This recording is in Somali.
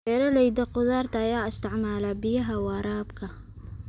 Beeralayda khudaarta ayaa isticmaala biyaha waraabka.